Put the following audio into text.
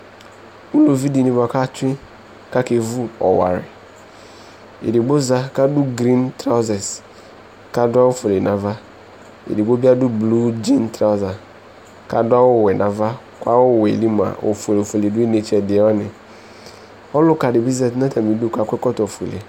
Uluvi dini bua katsue kakevu ɔwaɛƐdigbo zã kadʋ green trausers, kadʋ awu fuele navaEdigbo biadʋ blu Gin trausers kadʋ awu wɛ nava, kʋ awu wɛɛ li mua ofuele fuele dʋ inetse ɛdi wani Ɔluka dibi zati natamidu kakɔ ɛkɔtɔ fuele